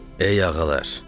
Ey ağalar.